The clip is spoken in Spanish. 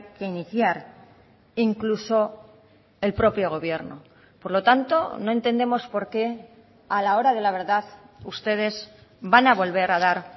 que iniciar incluso el propio gobierno por lo tanto no entendemos por qué a la hora de la verdad ustedes van a volver a dar